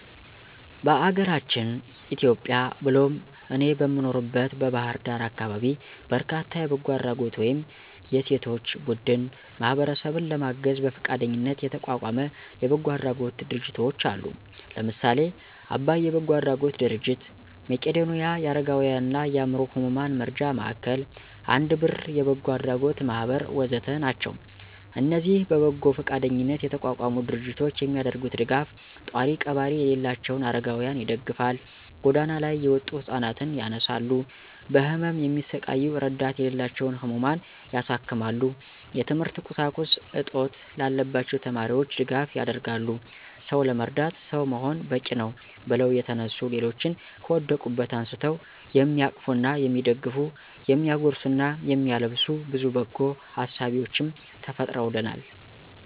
በአገራችን ኢትዮጵያ ብሎም እኔ በምኖርበት በባህር ዳር አካባቢ በርካታ የበጎ አድራጎት ወይም የሴቶች ቡድን ማህበረሰብን ለማገዝ በፈቃደኝነት የተቋቋመ የበጎ አድራጎት ድርጅቶች አሉ። ለምሳሌ :- አባይ የበጎ አድራጎት ድርጅት፣ መቄዶንያ የአረጋውያንና የአዕምሮ ህሙማን መርጃ ማዕከል፣ አንድ ብር የበጎ አድራጎት ማህበር ወ.ዘ.ተ... ናቸው። እነዚህ በበጎ ፈቃደኝነት የተቋቋሙ ድርጅቶች የሚያደርጉት ደጋፍ፣ ጧሪ ቀባሪ የሌላቸውን አረጋውያንን ይደግፋል፣ ጎዳና ላይ የወጡ ህፃናት ያነሳሉ፣ በህመም የሚሰቃዩ እረዳት የሌላቸውን ህሙማን ያሳክማሉ፣ የትምህርት ቁሳቁስ እጥት ላለባቸው ተማሪዎች ድጋፍ ያደርጋሉ። «ሰው ለመርዳት ሰው መሆን በቂነው» ብለው የተነሱ ሌሎችን ከወደቁበት አንስተው የሚያቅፉና የሚደግፉ፤ የሚያጎርሱና የሚያለብሱ ብዙ በጎ አሳቢዎችም ተፈጥረውልናል።